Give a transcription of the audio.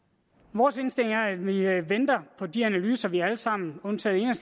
vores indstilling er at vi venter på de analyser vi alle sammen undtagen